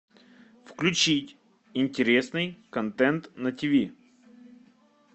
включить интересный контент на тв